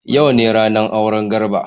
Yau ne ranar auren Garba.